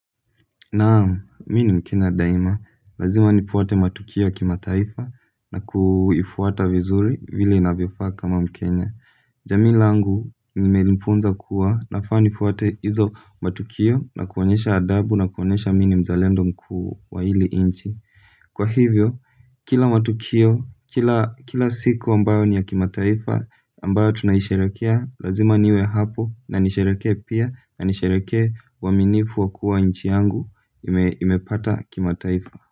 Naam, mini mkenya daima, lazima nifuate matukio ya kimataifa na kuifuata vizuri vile inavyofaa kama mkenya. Jamii langu limenifunza kuwa nafaa ni nifuate izo matukio na kuonyesha adhabu na kuonyesha mini mzalendo mkuu wa hili inchi. Kwa hivyo, kila matukio, kila siku ambayo ni ya kimataifa ambayo tunayisharekea, lazima niwe hapo na nishereke pia na nishereke waaminifu wa kuwa nchi yangu imepata kimataifa.